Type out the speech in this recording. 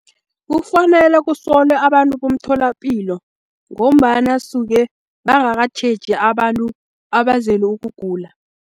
Kufanele kusolwe abantu bomtholapilo, ngombana suke bangakatjheji abantu abazele ukugula.